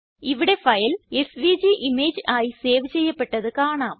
ഇവിടെ file SVG image ആയി save ചെയ്യപ്പെട്ടത് കാണാം